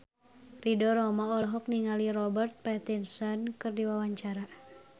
Ridho Roma olohok ningali Robert Pattinson keur diwawancara